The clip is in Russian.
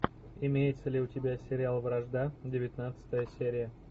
имеется ли у тебя сериал вражда девятнадцатая серия